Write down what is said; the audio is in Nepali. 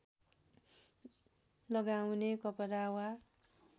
लगाउने कपडा वा